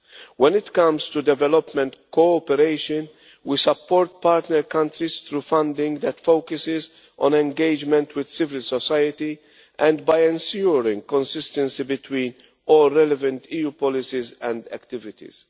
When it comes to development cooperation, we support partner countries through funding that focuses on engagement with civil society and by ensuring consistency between all relevant EU policies and activities.